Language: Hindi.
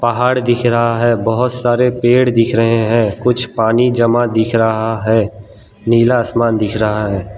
पहाड़ दिख रहा है बहोत सारे पेड़ दिख रहे हैं कुछ पानी जमा दिख रहा है नीला आसमान दिख रहा है।